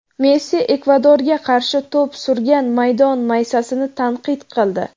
Messi Ekvadorga qarshi to‘p surgan maydon maysasini tanqid qildi.